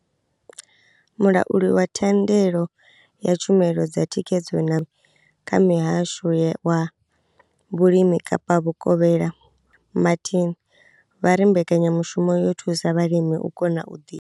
Mulauli wa thandelo ya tshumelo dza thikhedzo na mihasho wa vhulimi Kapa Vhukovhela Vho Shaheed Martin vha ri mbekanyamushumo yo thusa vhalimi u kona u ḓi.